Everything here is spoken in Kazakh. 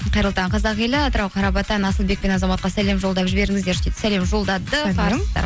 қайырлы таң қазақ елі атырау қарабатан асылбек пен азаматқа сәлем жолдап жіберіңіздерші дейді сәлем жолдадық